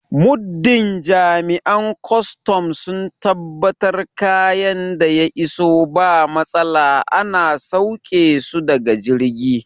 Muddin Jami'an kwaston sun tabbatar kayan da ya iso ba matsala ana sauƙe su daga jirgi